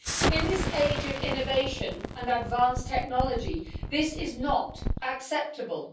In this age of innovation and advanced technology, this is not acceptable.